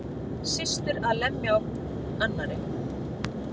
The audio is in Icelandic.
Systur að lemja hvor á annarri